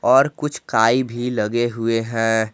और कुछ काई भी लगे हुए है।